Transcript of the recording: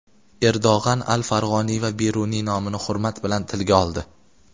Erdo‘g‘an al-Farg‘oniy va Beruniy nomini hurmat bilan tilga oldi.